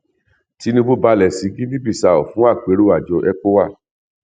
tinubu balẹ sí guineabissau fún àpérò àjọ ecowa